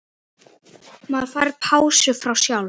Maður fær pásu frá sjálf